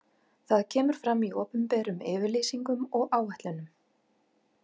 Það kemur fram í opinberum yfirlýsingum og áætlunum.